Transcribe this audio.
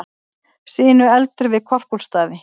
Sinueldur við Korpúlfsstaði